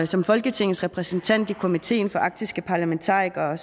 som folketingets repræsentant i komiteen for arktiske parlamentarikere har